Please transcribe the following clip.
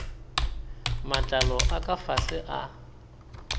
matlalo a ka fase a